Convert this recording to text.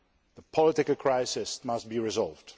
The political crisis must be resolved.